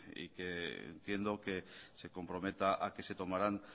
y que entiendo que se compromete a que se tomarán